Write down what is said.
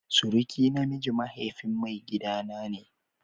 Suruki na miji mahaifin maigida na ne.